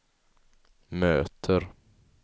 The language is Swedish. möter